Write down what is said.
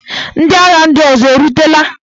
Ndị agha ndị ọzọ erutela?